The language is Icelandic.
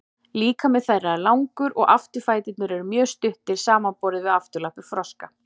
líkami þeirra er langur og afturfæturnir eru mjög stuttir samanborið við afturlappir froska